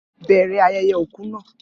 Bẹ̀rẹ̀ ayẹyẹ òkú naa